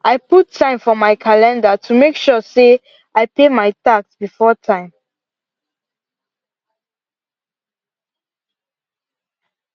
i put time for my calendar to make sure say i pay my tax before time